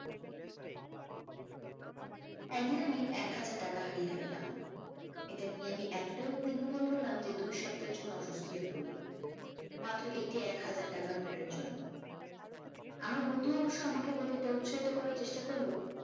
একদিন আমি এক হাজার টাকা হারিয়ে ফেললাম এটা নিয়ে আমি এতটাই উদ্বিগ্ন হয়ে পড়লাম যে দুই সপ্তাহের জন্য অসুস্থ হয়ে পড়ি মাত্র একটি একহাজার টাকার note এর জন্য আমার বন্ধু অবশ্য আমাকে বলে এটা উৎসাহিত করার চেষ্টা করলো